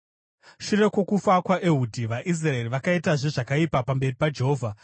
Shure kwokufa kwaEhudhi, vaIsraeri vakaitazve zvakaipa pamberi paJehovha.